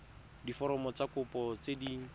diforomo tsa kopo tse dint